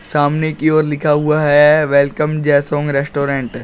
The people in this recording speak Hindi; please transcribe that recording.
सामने की ओर लिखा हुआ है वेलकम जेसॉन्ग रेस्टोरेंट ।